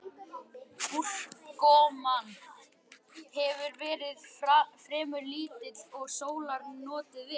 Úrkoman hefur verið fremur lítil og sólar notið vel.